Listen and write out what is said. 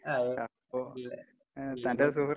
ആഹ്